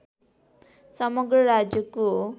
समग्र राज्यको